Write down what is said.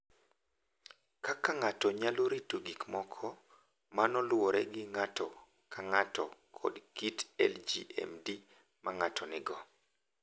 Kaka ng’ato nyalo rito gik moko, mano luwore gi ng’ato ka ng’ato kod kit LGMD ma ng’ato nigo.